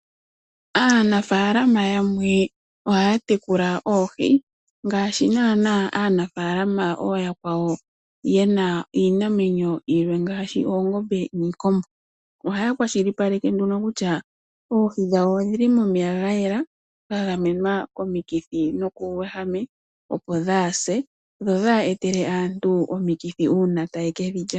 Aanafalama yamwe ohaya tekula oohi,.ngaashi naanaa aanafalama ooyakwawo yena iinamwenyo yilwe ngaashi oongombe niikombo. Ohaya kwashilipaleke nduno kutya oohi dhawo odhili momeya gayela gagamwenwa komikithi nokuuwehame opo kaadhi se dho kaadhi etele aantu omikithi uuna taye ke dhi lya.